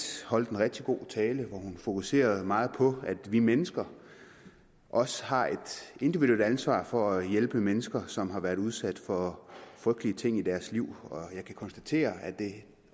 holdt en rigtig god tale hvor hun fokuserede meget på at vi mennesker også har et individuelt ansvar for at hjælpe mennesker som har været udsat for frygtelige ting i deres liv og jeg kan konstatere at det